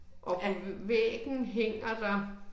Er